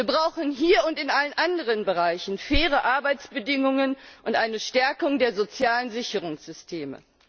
Wir brauchen hier und in allen anderen Bereichen faire Arbeitsbedingungen und eine Stärkung der sozialen Sicherungssysteme.